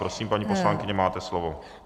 Prosím, paní poslankyně, máte slovo.